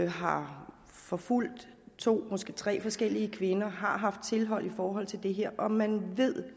har forfulgt to måske tre forskellige kvinder og har haft tilhold i forhold til det her og man